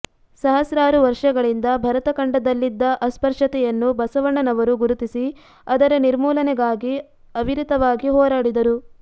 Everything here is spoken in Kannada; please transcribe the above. ಸಹಸ್ರಾರು ವರ್ಷಗಳಿಂದ ಭರತಖಂಡದಲ್ಲಿದ್ದ ಅಸ್ಪೃಶ್ಯತೆಯನ್ನು ಬಸವಣ್ಣನವರು ಗುರುತಿಸಿ ಅದರ ನಿಮರ್ೂಲನೆಗಾಗಿ ಅವಿರತವಾಗಿ ಹೋರಾಡಿದರು